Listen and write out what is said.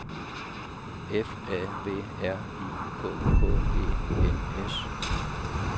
F A B R I K K E N S